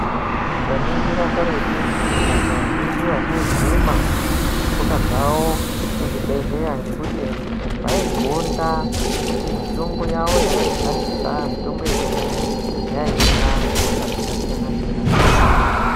Tikaningira karetu vantu vazhinji avasaiguma netsoka dzavo vaigonda kuti Mitombo yavo yavaishandisa yekudhaya yaihina hosha dzakasiyana siyana .